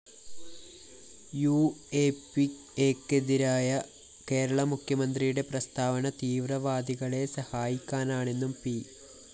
യുഎപിഎക്കെതിരായ കേരള മുഖ്യമന്ത്രിയുടെ പ്രസ്താവന തീവ്രവാദികളെ സഹായിക്കാനാണെന്നും പി